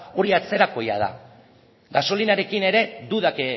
hori atzerakoia da gasolinarekin ere dudak